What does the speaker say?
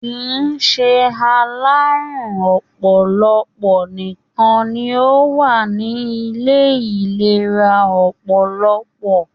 kìí ṣe alárùn ọpọlọpọ nìkan ni ó wà ni Ilé ìlera ọpọlọpọ